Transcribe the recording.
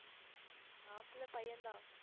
மாப்பிளை பையன் தான்